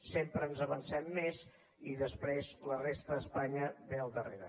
sempre ens avancem més i després la resta d’espanya ve al darrere